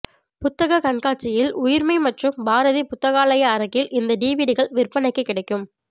புத்தகக் கண்காட்சியில் உயிர்மை மற்றும் பாரதி புத்தகாலய அரங்கில் இந்த டிவிடிகள் விற்பனைக்கு கிடைக்கும்